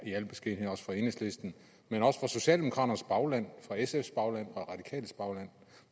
i al beskedenhed også fra enhedslisten men også fra socialdemokraternes bagland fra sfs bagland